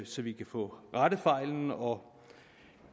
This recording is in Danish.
så vi kan få rettet fejlene og